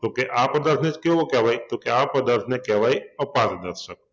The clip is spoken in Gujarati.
તો કે આ પદાર્થ ને કેવો કહેવાય? તો કે આ પદાર્થ ને કહેવાય અપારદર્શક